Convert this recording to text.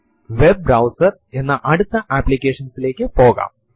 ഇത് വർഷത്തിലെ മാസത്തിനെ സംഖ്യാപരമായ ഘടനയിൽ നൽകുന്നു